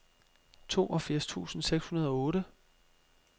toogfirs tusind seks hundrede og otte